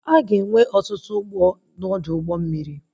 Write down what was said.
Aga enwe ọtụtụ ụgbọ na Ọdụ ụgbọ mmiri